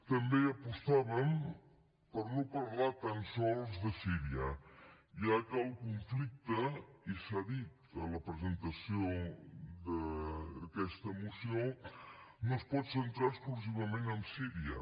també apostàvem per no parlar tan sols de síria ja que el conflicte i s’ha dit a la presentació d’aquesta moció no es pot centrar exclusivament en síria